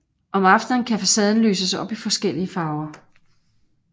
Om aftenen kan facaden lyses op i forskellige farver